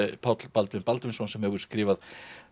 Páll Baldvin Baldvinsson sem hefur skrifað